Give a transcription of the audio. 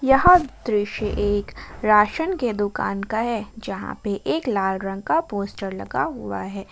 यह दृश्य एक राशन के दुकान का है यहां पे एक लाल रंग का पोस्टर लगा हुआ है।